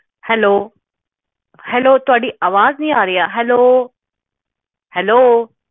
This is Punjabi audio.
ਹੈਲੋ ਹੈਲੋ ਥੋਡੀ ਆਵਾਜ਼ ਨਹੀਂ ਆ ਰਹੀ ਹੈਲੋ ਹੈਲੋ